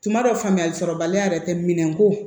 Tuma dɔ faamuyali sɔrɔbaliya yɛrɛ tɛ minɛn ko